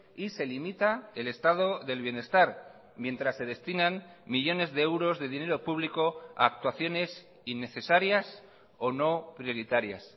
y se limita el estado del bienestar mientras se destinan millónes de euros de dinero público a actuaciones innecesarias o no prioritarias